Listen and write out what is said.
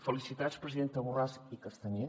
felicitats presidenta borràs i castanyer